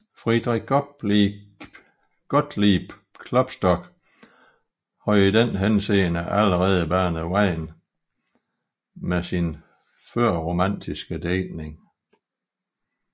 Friedrich Gottlieb Klopstock havde i den henseende allerede banet vejen med sin førromantiske digtning